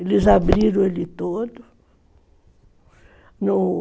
Eles abriram ele todo.